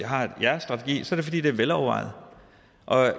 har jeres strategi er det fordi det er velovervejet